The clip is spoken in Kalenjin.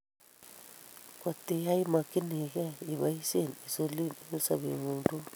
Kotiyai imokyini kei iboisien insulin eng' sobengung tugul